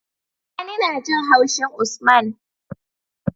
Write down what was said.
Sani najin haushin usman